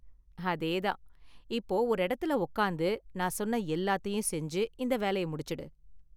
அதே தான்! இப்போ ஒரு எடத்துல உக்காந்து நான் சொன்ன எல்லாத்தையும் செஞ்சு இந்த வேலய முடிச்சுடு.